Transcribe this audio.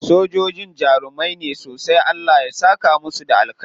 Sojojin jarumai ne sosai. Allah ya saka musu da alkhairi.